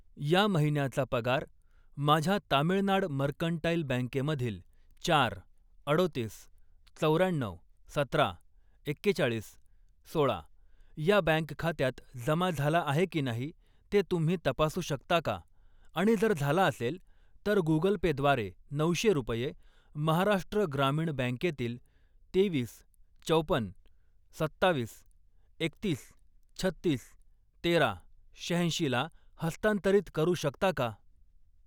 या महिन्याचा पगार माझ्या तामिळनाड मर्कंटाइल बँके मधील चार, अडोतीस, चौर्याण्णऊ, सतरा, एक्केचाळीस, सोळा या बँक खात्यात जमा झाला आहे की नाही ते तुम्ही तपासू शकता का आणि जर झाला असेल, तर गुगल पे द्वारे नऊशे रुपये महाराष्ट्र ग्रामीण बँकेतील तेवीस, चौपन, सत्तावीस, एकतीस, छत्तीस, तेरा, शहाऐंशीला हस्तांतरित करू शकता का?